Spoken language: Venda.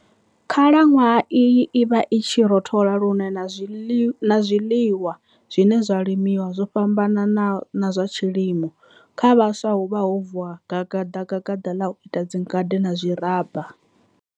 Khala nwaha iyi i vha i tshi rothola lune na zwiliwa zwine zwa limiwa zwo fhambana na zwa tshilimo. Kha vhaswa huvha ho vuwa gadagada la u ita dzingade na zwiraba.